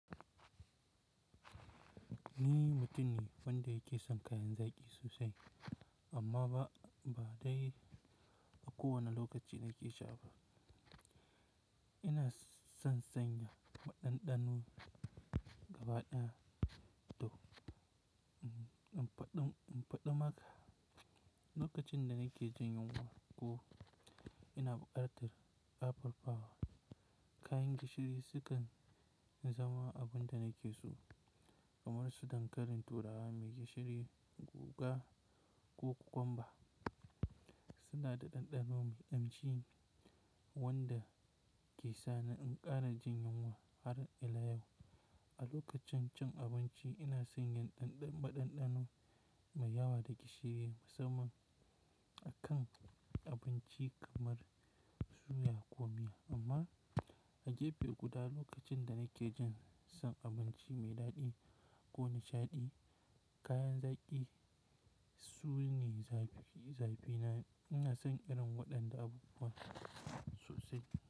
Ni mutum ne wanda yake son kayan zaƙi sosai amma ba dai a kowane lokaci na ke sha ba. Ina son sanya maɗaɗanu gaba ɗaya to, in faɗo maka lokacin da na ke jin yunwa ko ina buƙatar upper power, kayan gishiri sukan zama abun da na ke so. Kamar su dankalin turawa mai gishiri, guga ko kokwamba suna da ɗanɗano mai ƙamshi wanda ke sa ni in ƙara jin yunwa har ila yau. A lokacin cin abinci ina sanya ɗanɗan maɗaɗanu mai yawa daga shiri musamman a kan abinci kamar suya ko miya amma a gefe guda lokacin da na ke jin son abinci mai daɗi ko nishaɗi, kayan zaki sune zaɓi na. Ina son irin waɗanda abu sosai.